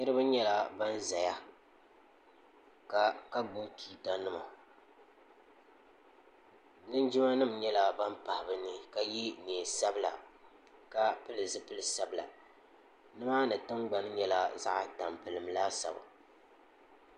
Niraba nyɛla ban ʒɛya ka gbubi tuuta na Linjima nim nyɛla ban pahi bi ni ka yɛ neen sabila ka pili zipili sabila nimaani tingbani nyɛla zaɣ tampilim laasabu